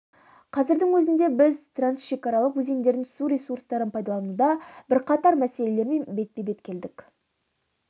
қазірдің өзінде біз трансшекаралық өзендердің су ресурстарын пайдалануда бірқатар мәселелермен бетпе-бет келдік